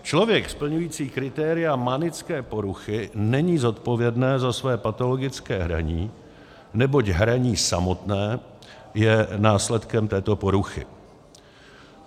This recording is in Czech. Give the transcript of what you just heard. Člověk splňující kritéria manické poruchy není zodpovědný za své patologické hraní, neboť hraní samotné je následkem této poruchy.